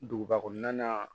Duguba kɔnɔna na